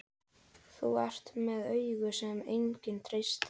Þú ert með augu sem enginn treystir.